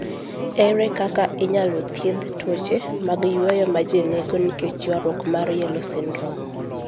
Ere kaka inyalo thiedh tuoche mag yueyo ma ji nigo nikech ywaruok mar yellow nail syndrome?